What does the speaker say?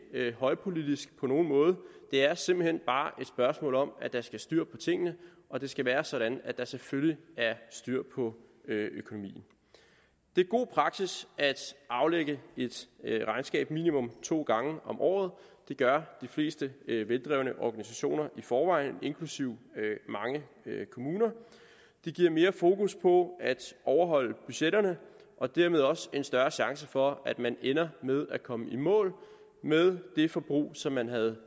ikke højpolitisk på nogen måde det er simpelt hen bare et spørgsmål om at der skal styr på tingene og det skal være sådan at der selvfølgelig er styr på økonomien det er god praksis at aflægge et regnskab minimum to gange om året det gør de fleste veldrevne organisationer i forvejen inklusive mange kommuner det giver mere fokus på at overholde budgetterne og dermed også en større chance for at man ender med at komme i mål med det forbrug som man havde